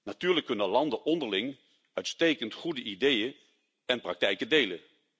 Natuurlijk kunnen landen onderling uitstekend, goede ideeën en praktijken delen.